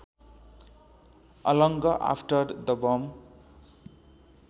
along after the bomb